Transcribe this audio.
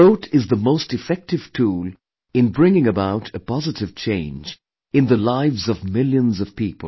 The vote is the most effective tool in bringing about a positive change in the lives of millions of people